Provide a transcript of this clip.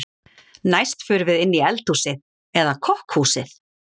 Næst förum við inn í eldhúsið eða kokkhúsið.